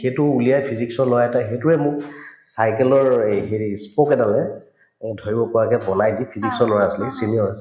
সেইটো উলিয়াই physics ৰ লৰা এটাই সেইটোৰে মোক cycle ৰ এই হেৰি spoke এডালেৰে অ ধৰিব পৰাকে বনাই দি physics ৰ লৰা আছিলে সি senior আছিল